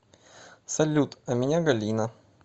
салют а меня галина